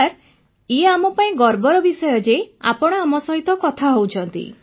sir ଇଏ ଆମ ପାଇଁ ଗର୍ବର ବିଷୟ ଯେ ଆପଣ ଆମ ସହିତ କଥା ହେଉଛନ୍ତି